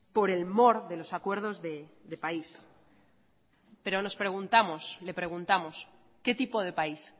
por el de los acuerdos de país pero le preguntamos qué tipo de país